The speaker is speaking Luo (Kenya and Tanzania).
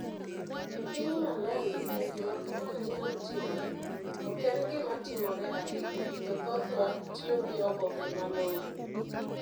E piny Malawi, ka gima kamano nyalo timore, ok en gima timore ahinya, to thothwa, tiyo gi oboke malong'o